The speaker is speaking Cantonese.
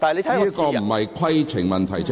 這不是規程問題。